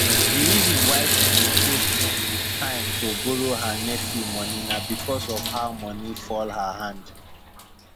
the reason why she dey take time to borrow her nephew money na because of how money fall her hand